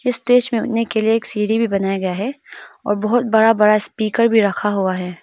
Stage पे उठने के लिए एक सीढ़ी भी बनाया गया है और बहुत बड़ा बड़ा स्पीकर भी रखा हुआ है।